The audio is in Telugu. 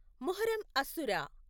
ముహర్రం అసుర